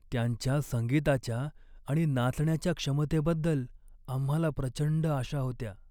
त्यांच्या संगीताच्या आणि नाचण्याच्या क्षमतेबद्दल आम्हाला प्रचंड आशा होत्या.